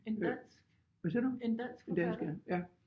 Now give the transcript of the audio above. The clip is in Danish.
En dansk? En dansk forfatter?